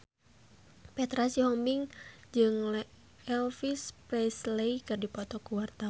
Petra Sihombing jeung Elvis Presley keur dipoto ku wartawan